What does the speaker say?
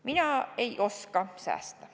Mina ei oska säästa.